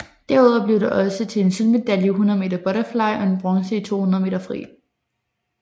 Derudover blev det også til en sølvmedalje i 100 meter butterfly og en bronze i 200 meter fri